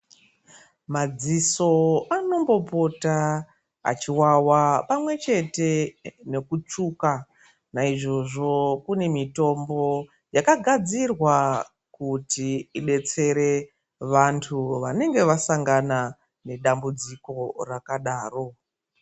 Madziso anombopota achiwawa pamwe chete nekutsuka naizvozvo kune mitombo yakagadzirwa kuti idetsere vantu vanenge vasangana nedabudziko rakadaro.